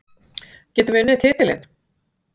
Getum við unnið titilinn?